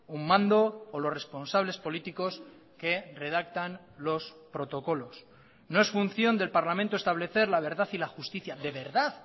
un mando o los responsables políticos que redactan los protocolos no es función del parlamento establecer la verdad y la justicia de verdad